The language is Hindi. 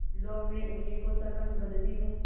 लो मैं उन्हीं को सरपंच बदती हूँ